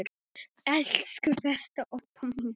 Elsku besta Obba mín.